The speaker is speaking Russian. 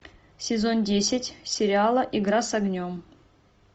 сезон десять сериала игра с огнем